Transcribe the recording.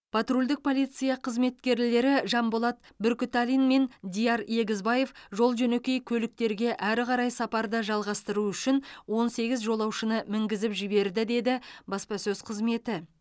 патрульдік полиция қызметкерлері жанболат бүркітәлин мен диар егізбаев жол жөнекей көліктерге әрі қарай сапарды жалғастыру үшін он сегіз жолаушыны мінгізіп жіберді деді баспасөз қызметі